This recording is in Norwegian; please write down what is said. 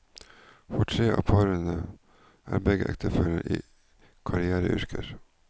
For tre av parene er begge ektefellene i karriereyrker.